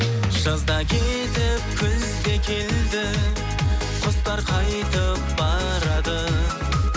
жаз да кетіп күз де келді құстар қайтып барады